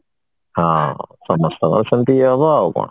ହଁ ସମସ୍ତଙ୍କ ସେମିତି ଇଏ ହବ ଆଉ କଣ